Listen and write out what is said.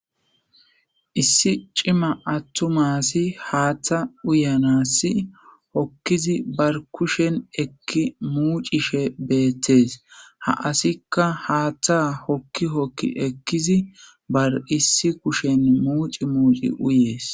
issi cima attumasi haaththa uyanassi hokkizi bar kushen ekki muucishe beettees ha asikka haaththa hokki hokki ekkizi bar issi kushen muuci muuci uyees